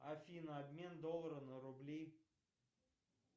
афина обмен доллара на рубли